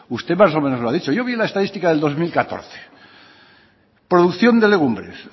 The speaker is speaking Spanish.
usted más o menos lo ha dicho yo vi la estadística del dos mil catorce producción de legumbres